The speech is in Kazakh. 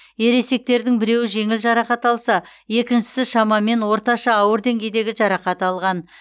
ересектердің біреуі жеңіл жарақат алса екіншісі шамамен орташа ауыр деңгейдегі жарақат алған